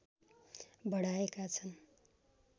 बढाएका छन्